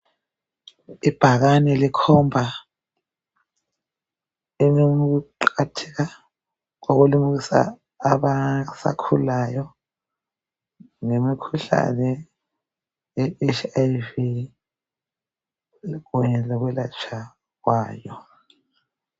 Ibhakane likhomba ukuqakatheka kokulimukisa abasakhulayo ngemikhulane i HIV kanye lokulatshwa kwayo.